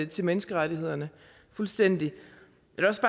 til menneskerettighederne fuldstændig